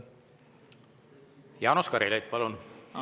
Jaanus Karilaid, palun!